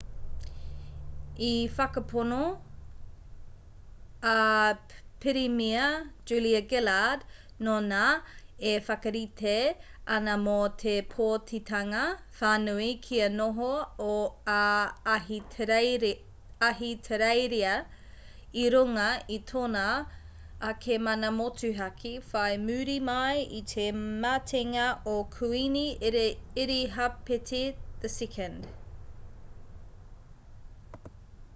i whakapono a pirimia julia gillard nōnā e whakarite ana mō te pōtitanga whānui kia noho a ahitereiria i runga i tōna ake mana motuhake whai muri mai i te matenga o kuini irihāpeti ii